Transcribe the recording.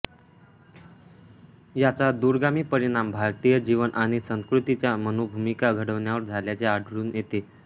याचा दूरगामी परिणाम भारतीय जीवन आणि संस्कृतीच्या मनोभूमिका घडण्यावर झाल्याचे आढळून येते